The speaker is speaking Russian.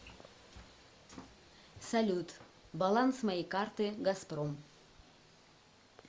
салют баланс моей карты газпром